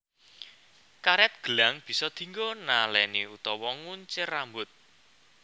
Karet gelang bisa dinggo naleni utawa nguncir rambut